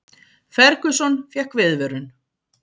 Ferguson fékk viðvörun